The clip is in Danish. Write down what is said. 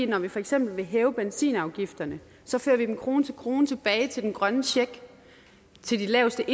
når vi for eksempel vil hæve benzinafgifterne så fører vi dem krone til krone tilbage til den grønne check til de laveste